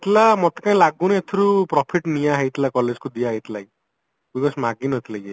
ଥିଲା ମତେ କାଇଁ ଲାଗୁନି ଏଥିରୁ profit ନିଆ ହେଇଥିଲା college କୁ ଦିଆହେଇଥିଲା ମାଗି ନଥିଲେ କିଏ